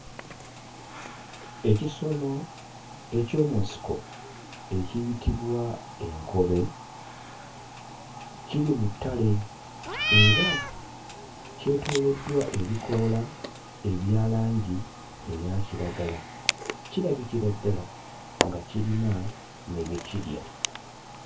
Ekisolo eky'omu nsiko ekiyitibwa enkobe kiri mu ttale era kyetooloddwa ebikoola ebya langi eya kiragala, kirabikira ddala nga kirina ne bye kirya.